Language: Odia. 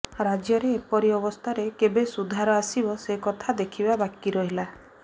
ରାଜ୍ୟରେ ଏପରି ଅବସ୍ଥାରେ କେବେ ସୁଧାର ଆସିବ ସେକଥା ଦେଖିବା ବାକି ରହିଲା